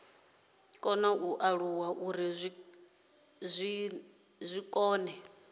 kona u alula uri zwikene